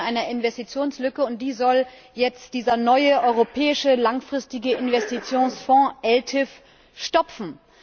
Er spricht von einer Investitionslücke, und die soll jetzt dieser neue europäische langfristige Investitionsfonds ELTIF stopfen.